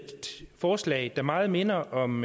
forslag der meget minder om